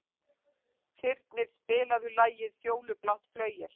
Þyrnir, spilaðu lagið „Fjólublátt flauel“.